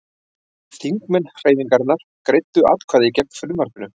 Þingmenn Hreyfingarinnar greiddu atkvæði gegn frumvarpinu